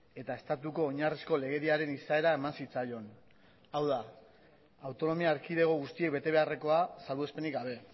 eta estatuko oinarrizko legediaren izaera eman zitzaion hau da autonomia erkidego guztiek bete beharrekoa salbuespenik gabe